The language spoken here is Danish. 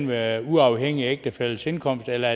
være uafhængig af ægtefællens indkomst eller